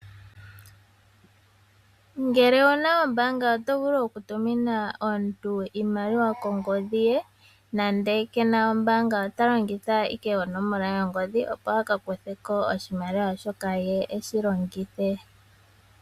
Ngele owuna ombanga oto vulu okutumina omuntu iimaliwa kongodhi ye nande kena ombanga ota longitha ashike onomola yongodhi opo akakutheko oshimaliwa shoka ye eshi longithe.